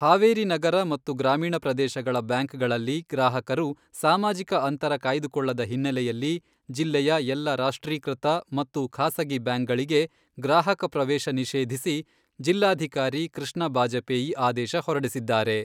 ಹಾವೇರಿ ನಗರ ಮತ್ತು ಗ್ರಾಮೀಣ ಪ್ರದೇಶಗಳ ಬ್ಯಾಂಕ್ಗಳಲ್ಲಿ ಗ್ರಾಹಕರು ಸಾಮಾಜಿಕ ಅಂತರ ಕಾಯ್ದುಕೊಳ್ಳದ ಹಿನ್ನೆಲೆಯಲ್ಲಿ ಜಿಲ್ಲೆಯ ಎಲ್ಲ ರಾಷ್ಟ್ರೀಕೃತ ಮತ್ತು ಖಾಸಗಿ ಬ್ಯಾಂಕ್ಗಳಿಗೆ ಗ್ರಾಹಕ ಪ್ರವೇಶ ನಿಷೇಧಿಸಿ ಜಿಲ್ಲಾಧಿಕಾರಿ ಕೃಷ್ಣ ಬಾಜಪೇಯಿ ಆದೇಶ ಹೊರಡಿಸಿದ್ದಾರೆ.